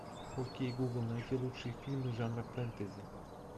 окей гугл найти лучшие фильмы жанра фэнтези